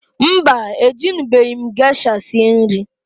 Mbaǃ E junubeghi m viniga sie nri.